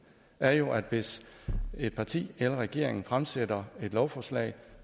er jo at hvis et parti eller regeringen fremsætter et lovforslag